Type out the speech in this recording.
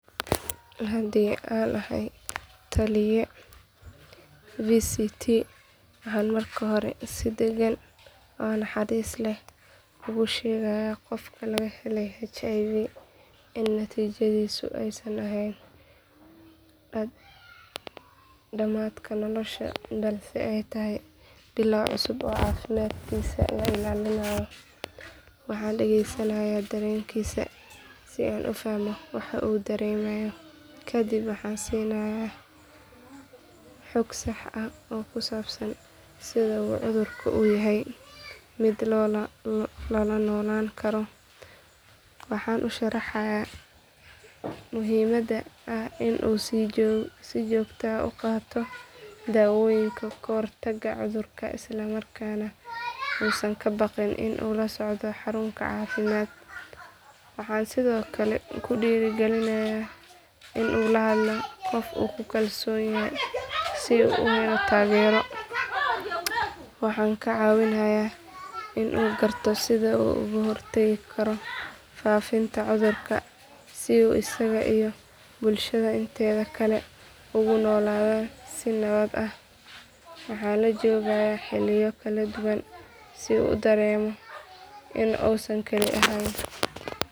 Haddii aan ahay lataliye VCT waxaan marka hore si degan oo naxariis leh ugu sheegayaa qofka laga helay HIV in natiijadaasi aysan ahayn dhammaadka nolosha balse ay tahay bilow cusub oo caafimaadkiisa la ilaalinayo. Waxaan dhageysanayaa dareenkiisa si aan u fahmo waxa uu dareemayo kadibna waxaan siinayaa xog sax ah oo ku saabsan sida uu cudurkan u yahay mid la noolaan karo. Waxaan u sharxayaa muhiimadda ah in uu si joogto ah u qaato daawooyinka kahortagga cudurka isla markaana uusan ka baqin in uu la socdo xarun caafimaad. Waxaan sidoo kale ku dhiirrigelinayaa in uu la hadlo qof uu ku kalsoon yahay si uu u helo taageero. Waxaan ka caawinayaa in uu garto sida uu uga hortagi karo faafinta cudurka si uu isaga iyo bulshada inteeda kale ugu noolaadaan si nabad ah. Waxaan la joogayaa xilliyo kala duwan si uu dareemo in uusan kali ahayn.